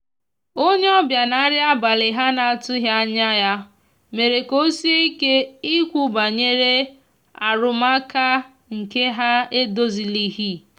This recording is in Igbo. onye obia na nri abali ha na atughi anya ya mere ka osie ike ikwu banyere arụmaka nke ha na edozilighi.